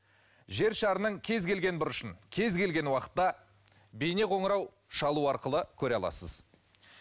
жер шарының кез келген бұрышын кез келген уақытта бейнеқоңырау шалу арқылы көре аласыз